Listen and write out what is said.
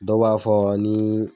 Dɔw b'a fɔ ani